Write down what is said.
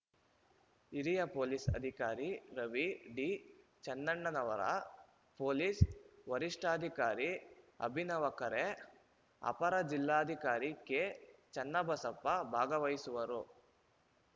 ಹಿರಿಯ ಪೊಲೀಸ್‌ ಅಧಿಕಾರಿ Ravi D Channannavar police ವರಿಷ್ಟಾಧಿಕಾರಿ ಅಭಿನವ ಖರೆ ಅಪರ ಜಿಲ್ಲಾಧಿಕಾರಿ ಕೆಚನ್ನಬಸಪ್ಪ ಭಾಗವಹಿಸುವರು